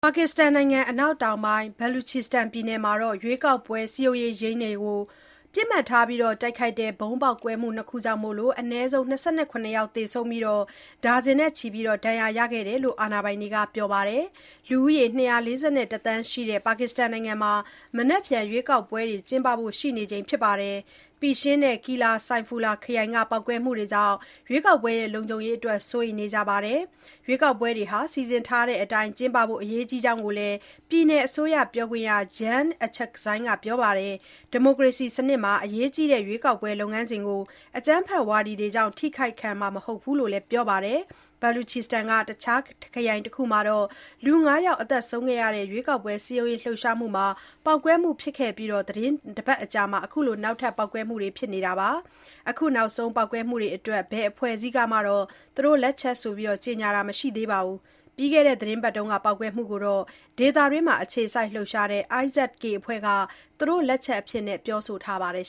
ပါကစ္စတန်နိုင်ငံ အနောက်တောင်ပိုင်း Baluchistan ပြည်နယ်မှာ ရွေးကောက်ပွဲ စည်းရုံးရေးရုံးတွေကို ပစ်မှတ်ထား တိုက်ခိုက်တဲ့ ဗုံးပေါက်ကွဲမှု ၂ ခုကြောင့် အနည်းဆုံး ၂၇ ယောက် သေဆုံးပြီး၊ ဒါဇင်နဲ့ချီ ဒဏ်ရာရခဲ့ကြောင်း အာဏာပိုင်တွေက ပြောပါတယ်။ လူဦးရေ ၂၄၁ သန်းရှိတဲ့ ပါကစ္စတန်နိုင်ငံမှာ မနက်ဖြန် ရွေးကောက်ပွဲတွေ ကျင်းပဖို့ ရှိနေချိန်မှာ Pishin နဲ့ Qilla Saifullah ခရိုင်က ပေါက်ကွဲမှုတွေကြောင့် လုံခြုံရေးအတွက် စိုးရိမ်နေကြတာပါ။ ရွေးကောက်ပွဲတွေ စီစဉ်ထားတဲ့အတိုင်း ကျင်းပဖို့ အရေးကြီးကြောင်းလည်း ပြည်နယ်အစိုးရပြောခွင့်ရ Jan Achakzai ကပြောပါတယ်။ ဒီမိုကရေစီစနစ်မှာ အရေးကြီးတဲ့ ရွေးကောက်ပွဲ လုပ်ငန်းစဉ်ကို အကြမ်းဖက်ဝါဒီတွေကြောင့် ထိခိုက်ခံနိုင်မှာ မဟုတ်ဘူးလို့လည်း ပြောပါတယ်။ Baluchistan က တခြားခရိုင်တခုမှာ လူ ၅ ယောက် သေဆုံးခဲ့တဲ့ ရွေးကောက်ပွဲစည်းရုံးရေးလှုပ်ရှားမှုမှာ ပေါက်ကွဲမှုဖြစ်ခဲ့အပြီး သီတင်းတပတ် အကြာမှာ အခုနောက်ထပ် ပေါက်ကွဲမှုတွေ ဖြစ်ခဲ့တာပါ။ အခုနောက်ဆုံး ပေါက်ကွဲမှုတွေအတွက် ဘယ်အဖွဲ့အစည်းကမှ သူတို့လက်ချက်ဆိုပြီး ကြေညာတာ မရှိပေမဲ့ ပြီးခဲ့တဲ့သီတင်းပတ်က ပေါက်ကွဲမှုကိုတော့ ဒေသတွင်းမှာ အခြေစိုက်လှုပ်ရှားနေတဲ့ IS-K အဖွဲ့က သူတို့လက်ချက်အဖြစ် ပြောဆိုထားပါတယ်